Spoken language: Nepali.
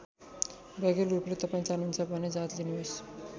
वैकल्पिक रूपले तपाईँ चाहनुहुन्छ भने जाँच लिनुहोस्।